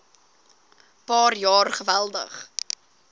paar jaar geweldig